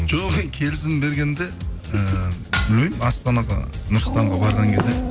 жоқ ей келісім бергенде і білмеймін астанаға нұр сұлтанға барған кезде